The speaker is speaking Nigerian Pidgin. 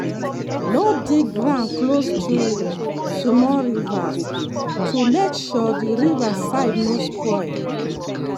no dig ground close to small rivers to make sure the river side no spoil.